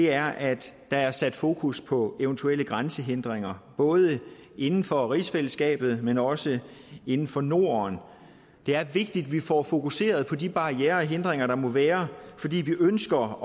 er at der er sat fokus på eventuelle grænsehindringer både inden for rigsfællesskabet men også inden for norden det er vigtigt at vi får fokuseret på de barrierer og hindringer der måtte være fordi vi ønsker